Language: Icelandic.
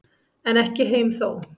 En ekki heim þó.